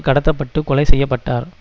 கடத்த பட்டு கொலை செய்ய பட்டார்